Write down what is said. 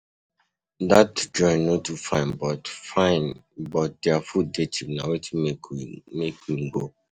Dat joint no too fine but fine but their food dey cheap na wetin make me go.